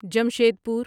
جمشید پور